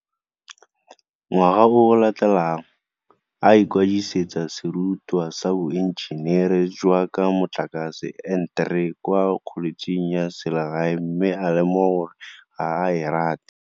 Ngwaga o o latelang, a ikwadisetsa serutwa sa Boenjenere jwa tsa Motlakase N3 kwa kholetšheng ya selegae mme a lemoga gore ga a e rate.